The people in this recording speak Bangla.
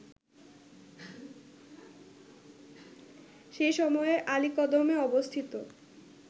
সেই সময়ে আলীকদমে অবস্থিত